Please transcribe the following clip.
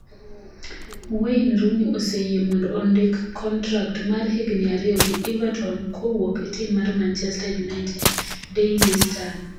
Wayne Rooney oseyie mondo ondik kontrak mar higni ariyo gi Everton kowuok e tim mar Manchester United (Daily Star).